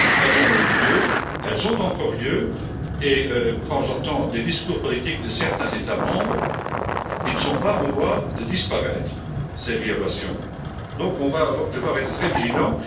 Elles ont eu lieu, elles ont encore lieu et, quand j'entends les discours politiques de certains États membres, elles ne sont pas en voie de disparaître, ces violations, donc on va devoir être très vigilants.